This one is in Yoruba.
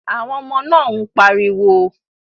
Àwọn ọmọ náà ń pariwo